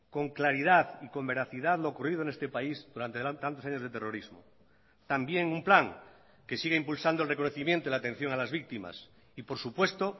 con claridad y con veracidad lo ocurrido en este país durante tantos años de terrorismo también un plan que siga impulsando el reconocimiento y la atención a las víctimas y por supuesto